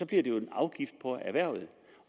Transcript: det jo en afgift på erhvervet